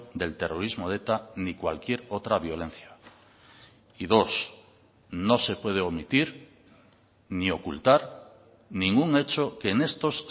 del terrorismo de eta ni cualquier otra violencia y dos no se puede omitir ni ocultar ningún hecho que en estos